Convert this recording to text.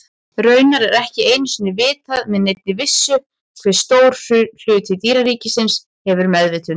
Raunar er ekki einu sinni vitað með neinni vissu hve stór hluti dýraríkisins hefur meðvitund.